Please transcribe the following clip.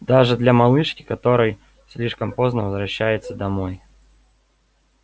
даже для малышки которой слишком поздно возвращается домой